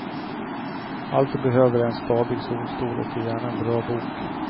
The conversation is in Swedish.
Allt du behöver är en stadig solstol och gärna en bra bok.